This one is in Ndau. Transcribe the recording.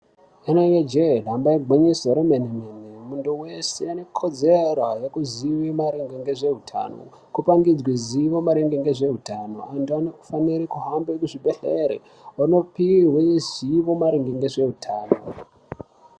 Inenge jee damba igwinyiso remene-mene, muntu weshe ane kodzero yekuzive maringe ngezveutano kupangidzwe zivo maringe ngezveutano. Antu anofanire kuhambe kuzvibhedhlere onopihwe zivo maringe nezveutano.